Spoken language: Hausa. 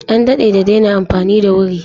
An daɗe da daina amfani da wuri.